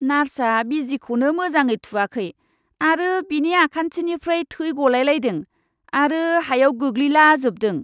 नार्सआ बिजिखौनो मोजाङै थुवाखै आरो बिनि आखान्थिनिफ्राय थै गलायलायदों आरो हायाव गोग्लैलाजोबदों।